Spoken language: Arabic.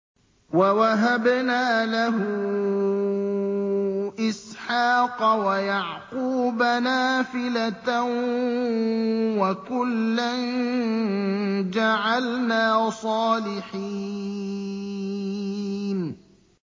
وَوَهَبْنَا لَهُ إِسْحَاقَ وَيَعْقُوبَ نَافِلَةً ۖ وَكُلًّا جَعَلْنَا صَالِحِينَ